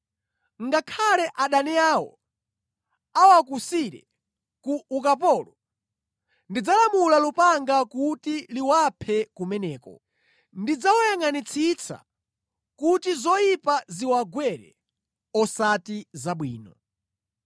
Ngakhale adani awo awakusire ku ukapolo, ndidzalamula lupanga kuti liwaphe kumeneko. Ndidzawayangʼanitsitsa kuti zoyipa ziwagwere; osati zabwino.”